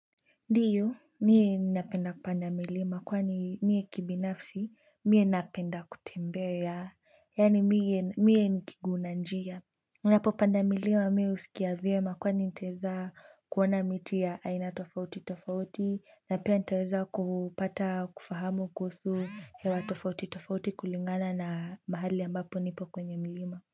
Ndiyo, mimi ninapenda kupanda milima kwa ni mimi kibinafsi, mimi napenda kutembea, yani mimi ni kiguu na njia. Ninapopanda milima, mimi husikia vyema kwani nitaeza kuona miti ya aina tofauti tofauti, na pia nitaeza kupata kufahamu kuhusu hewa tofauti tofauti kulingana na mahali ambapo nipo kwenye milima.